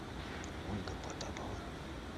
ольга потапова